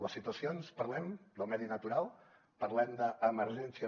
les situacions parlem del medi natural parlem d’emergències